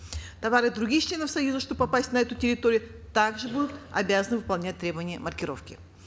товары других членов союза чтобы попасть на эту территорию также будут обязаны выполнять требования маркировки